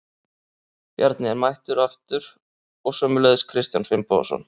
Bjarni er mættur aftur og sömuleiðis Kristján Finnbogason.